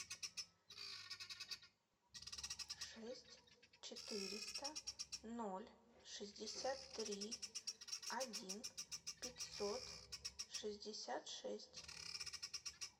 шесть четыреста ноль шестьдесят три один пятьсот шестьдесят шесть